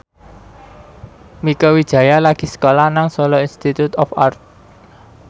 Mieke Wijaya lagi sekolah nang Solo Institute of Art